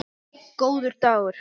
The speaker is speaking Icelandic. Góður dagur